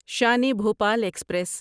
Shan e Bhopal express